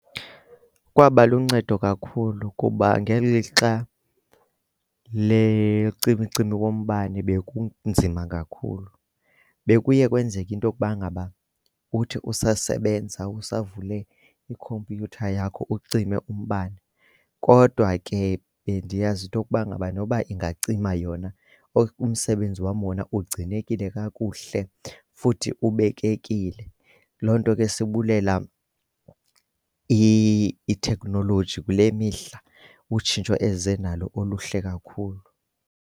Kwaba luncedo kakhulu kuba ngeli lixa lecimicimi wombane bekunzima kakhulu. Bekuye kwenzeke into yokuba ngaba uthi usasebenza, usavule ikhompyutha yakho ucime umbane. Kodwa ke bendiyazi into yokuba ngaba noba ingacima yona umsebenzi wam wona ugcinekile kakuhle futhi ubekekile. Loo nto ke sibulela i-technology kule mihla utshintsho eze nalo oluhle kakhulu.